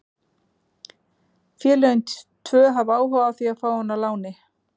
Félögin tvö hafa áhuga á því að fá hann á láni.